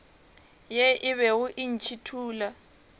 ye e bego e ntšhithola